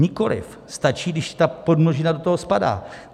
Nikoliv, stačí, když ta podmnožina do toho spadá.